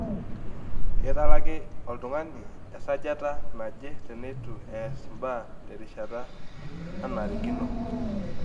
Keitalaki oltung'ani esajata naje teneitu eas embae terishata nanarikino.